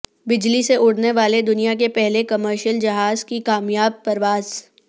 بجلی سے اڑنے والے دنیا کے پہلے کمرشل جہاز کی کامیاب پرواز